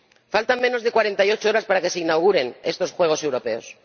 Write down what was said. Faltan menos de 48 horas para que se inauguren estos Juegos Europeos.